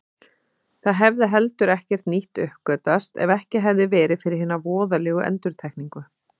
Það hefði heldur ekkert nýtt uppgötvast ef ekki hefði verið fyrir hina voðalegu endurtekningu.